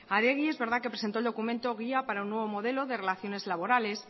adegi es verdad que presentó el documento guía para un nuevo modelo de relaciones laborales